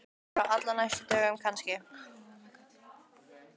Þóra: Á allra næstu dögum kannski?